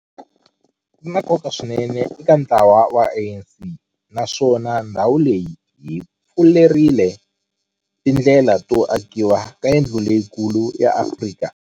Ri na nkoka swinene eka ntlawa wa ANC, naswona ndhawu leyi yi pfurile tindlela to akiwa ka yindlu leyikulu ya Afrika.